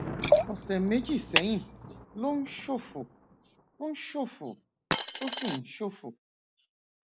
ọsẹ méjì sẹyìn ló ń ṣòfò ó ń ṣòfò ó sì ń ṣòfò